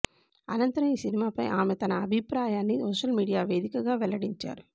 అనంతరం ఈ సినిమాపై ఆమె తన అభిప్రాయాన్ని సోషల్ మీడియా వేదికగా వెల్లడించారు